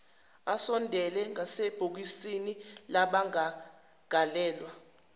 asondele ngasebhokisini labamangalelwa